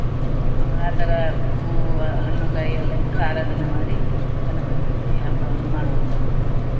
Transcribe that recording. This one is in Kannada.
ಆತರ ಹೂವು ಹಣ್ಣು ಕಾಯಿ ಎಲ್ಲ ಇಟ್ಟು ಆರಾಧನೆ ಮಾಡಿ ಗಣಪತಿ ಹಬ್ಬವನ್ನು ಮಾಡುವಂತದ್ದು.